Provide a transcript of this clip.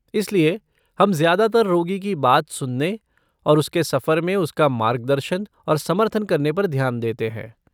इसलिए हम ज़्यादातर रोगी की बात सुनने और उसके सफ़र में उसका मार्गदर्शन और समर्थन करने पर ध्यान देते हैं।